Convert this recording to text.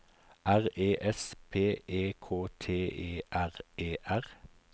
R E S P E K T E R E R